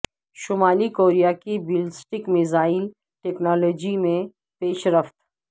شمالی کوریا کی ballistic missile technology میں پیش رفت